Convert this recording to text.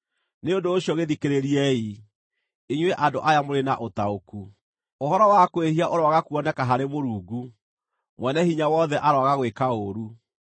“Nĩ ũndũ ũcio gĩĩthikĩrĩriei, inyuĩ andũ aya mũrĩ na ũtaũku. Ũhoro wa kwĩhia ũroaga kuoneka harĩ Mũrungu, Mwene-Hinya-Wothe aroaga gwĩka ũũru.